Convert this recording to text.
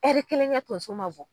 Ɛri kelen kɛ tonso ma bɔ.